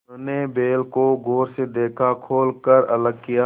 उन्होंने बैल को गौर से देखा खोल कर अलग किया